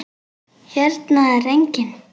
Hérna er enginn.